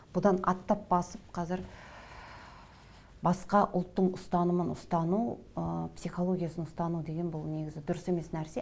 бұдан аттап басып қазір басқа ұлттың ұстанымын ұстану ы психологиясын ұстану деген бұл негізі дұрыс емес нәрсе